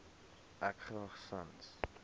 ek graag sans